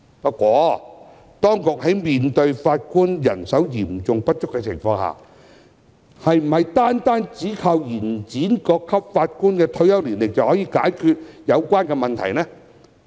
不過，面對法官人手嚴重不足的情況，當局是否單靠延展各級法院法官的退休年齡，便可解決有關問題呢？